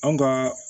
An ka